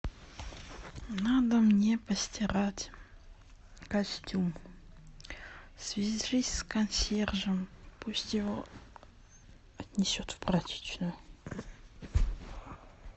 надо мне постирать костюм свяжись с консьержем пусть его отнесет в прачечную